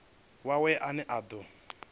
wawe ane a do i